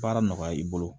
Baara nɔgɔya i bolo